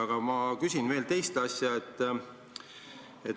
Aga ma küsin veel teise asja kohta.